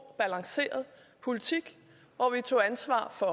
balanceret politik hvor vi tog ansvar for